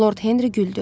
Lord Henri güldü.